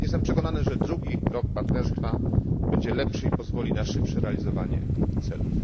Jestem przekonany, że drugi rok partnerstwa będzie lepszy i pozwoli na szybsze realizowanie celów.